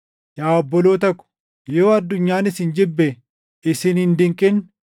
Yaa obboloota ko, yoo addunyaan isin jibbe isin hin dinqin.